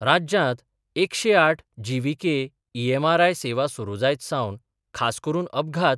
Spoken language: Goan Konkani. राज्यांत एकशे आठ जीव्हीके ईएमआरआय सेवा सुरू जायत सावन खास करून अपघात